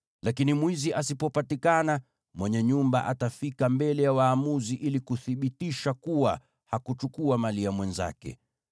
Lakini mwizi asipopatikana, mwenye nyumba atafika mbele ya waamuzi ili kuthibitisha kuwa hakuchukua mali ya mwenzake.